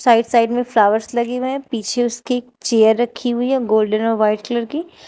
Side side में flowers लगे हुए है पीछे उसकी चेयर रखी हुई है गोल्डन और वाइट कलर की।